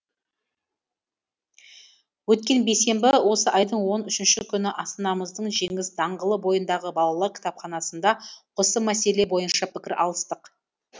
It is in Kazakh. өткен бейсенбі осы айдың он үшінші күні астанамыздың жеңіс даңғылы бойындағы балалар кітапханасында осы мәселе бойынша пікір алыстық